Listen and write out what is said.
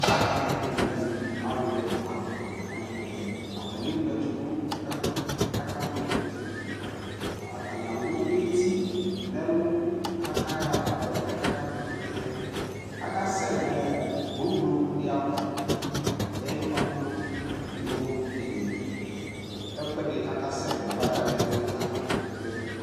Aka ma ɛkutɛ nɛ mɛ Alu ɛla la aka mɛ ɛkutɛAtani alu eti nɛ lu ka ya fa nɛ fuɛ kaka ma ɛkutɛAka sɛ nɔɔ gbogblo di ya va Ata ni ayɔ pampro yɔ keke ɛkuɛdkaka sɛ na ya va ka ɣa ɛfuɛ bua kaka ma ɛkutɛ